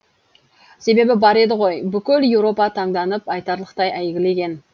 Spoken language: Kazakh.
себебі бар еді ғой бүкіл еуропа таңданып айтарлықтай әйгілеген